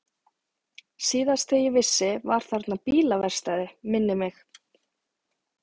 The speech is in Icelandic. Síðast þegar ég vissi var þarna bílaverkstæði, minnir mig.